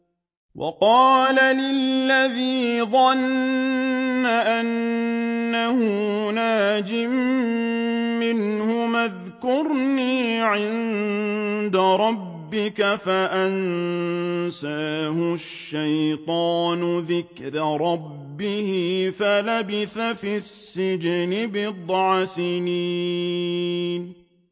وَقَالَ لِلَّذِي ظَنَّ أَنَّهُ نَاجٍ مِّنْهُمَا اذْكُرْنِي عِندَ رَبِّكَ فَأَنسَاهُ الشَّيْطَانُ ذِكْرَ رَبِّهِ فَلَبِثَ فِي السِّجْنِ بِضْعَ سِنِينَ